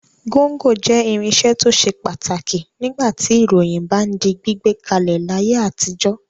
Gọ́ńgọ jẹ́ irinṣẹ́ tó ṣe pàtàkì nígbà tí ìròyìn bá ń di gbígbé kalẹ̀ láyé àtijọ́.